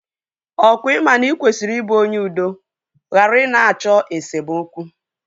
Ọkwa ị ma na ị kwesịrị ị bụ onye udo ghara ị na-achọ esemokwu?